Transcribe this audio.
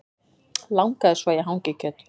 Langaði svo í hangikjöt